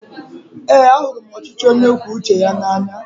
Eé, ahụrụ m ọchịchị onye kwue uche ya n'anya.